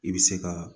I bɛ se ka